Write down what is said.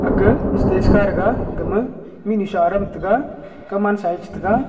ga stage ka dega gama mihnu sha adam tega kaw man sa che tega.